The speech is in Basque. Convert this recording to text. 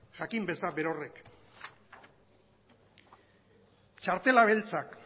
jakin dezan berorrek txartela beltzak